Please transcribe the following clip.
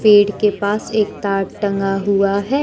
पेड़ के पास एक तार टंगा हुआ है।